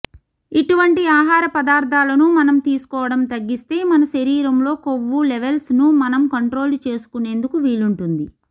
ఇటువంటి ఆహార పదార్థాలను మనం తీసుకోవడం తగ్గిస్తే మన శరీరంలో కొవ్వు లెవెల్స్ ను మనం కంట్రోల్ చేసుకునేందుకు వీలుంటుంది